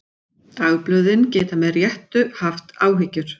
Dagblöðin geta með réttu haft áhyggjur.